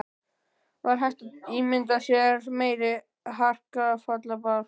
Var hægt að ímynda sér meiri hrakfallabálk?